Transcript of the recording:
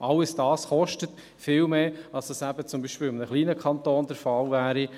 All dies kostet viel mehr, als es eben zum Beispiel in einem kleinen Kanton der Fall wäre.